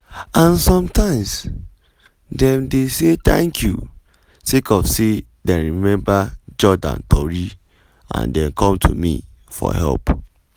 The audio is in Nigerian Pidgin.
"and sometimes dem dey say thank you sake of say dem remember jordan tori and dem come to me for help.”